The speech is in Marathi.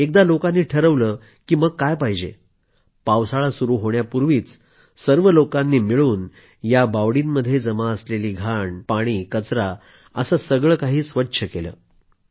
एकदा लोकांनी ठरवलं की मग काय पाहिजे पावसाळा सुरू होण्यापूर्वीच सर्व लोकांनी मिळून या बावडींमध्ये जमा असलेले घाण पाणी कचरा असं सगळं काही स्वच्छ केलं